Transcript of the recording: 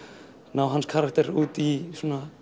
ná hans karakter út í